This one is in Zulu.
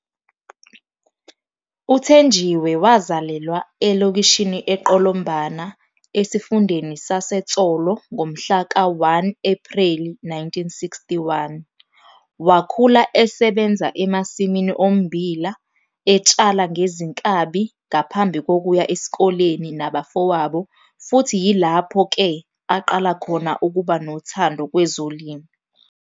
UThenjiwe wazalelwa eLokishini eQolombana eSifundeni saseTsolo ngomhla ka1 Ephreli 1961. Wakhula esebenza emasimi ommbila, etshala ngezinkabi ngaphambi kokuya esikoleni nabafowabo futhi yilaphp ke aqala khona ukuba nothando kwezolimo.